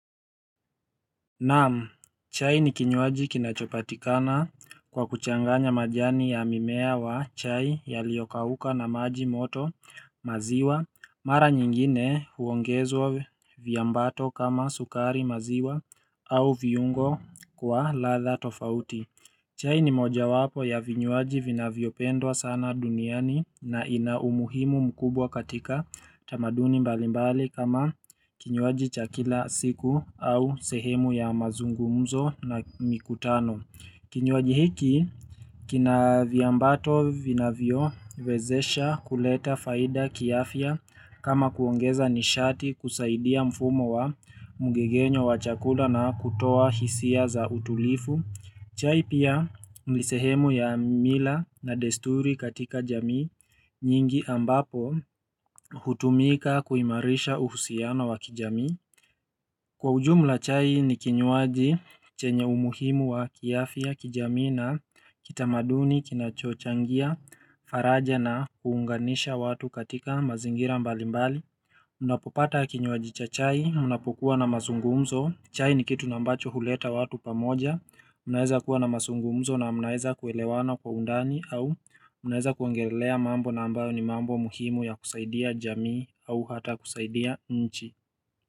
Naam, chai ni kinywaji kinachopatikana kwa kuchanganya majani ya mimea wa chai ya liokauka na maji moto maziwa, mara nyingine huongezwa viambato kama sukari maziwa au viungo kwa ladha tofauti chai ni moja wapo ya vinywaji vinavyopendwa sana duniani na inaumuhimu mkubwa katika tamaduni mbalimbali kama kinywaji chakila siku au sehemu ya mazungumzo na mikutano. Kinyuaji hiki kina viambato vinavyo wezesha kuleta faida kiafya kama kuongeza nishati kusaidia mfumo wa mgegenyo wachakula na kutoa hisia za utulifu. Chai pia nisehemu ya mila na desturi katika jamii nyingi ambapo hutumika kuimarisha uhusiano wa kijamii. Kwa ujumla chai ni kinywaji chenye umuhimu wa kiafya kijamii na kitamaduni kinachochangia faraja na kuunganisha watu katika mazingira mbali mbali. Na mnaeza kuelewana kwa undani au mnaeza kuongelelea mambo na ambayo ni mambo muhimu ya kusaidia jamii au hata kusaidia nchi.